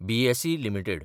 BSE limited